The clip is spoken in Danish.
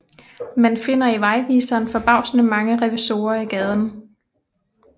Man finder i vejviseren forbavsende mange revisorer i gaden